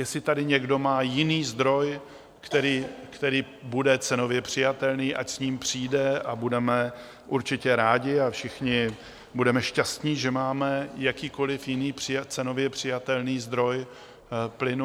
Jestli tady někdo má jiný zdroj, který bude cenově přijatelný, ať s ním přijde a budeme určitě rádi a všichni budeme šťastni, že máme jakýkoliv jiný cenově přijatelný zdroj plynu.